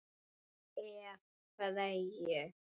Ef. Freyju